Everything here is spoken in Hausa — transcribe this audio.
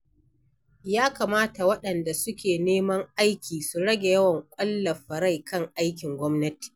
Ya kamata waɗanda suke neman aiki su rage yawan ƙwallafa rai kan aikin gwamnati.